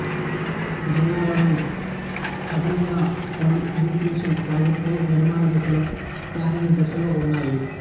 జిల్లాలో అదనంగా పలు ఇరిగేషన్ ప్రాజెక్టులు నిర్మాణదశలో ప్లానింగ్ దశలో ఉన్నాయి